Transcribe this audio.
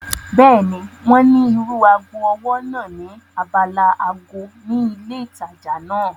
Bẹ́ẹ̀ni, wọ́n ní irú ago ọwọ́ náà ní abala ago ni ilé ìtajà náà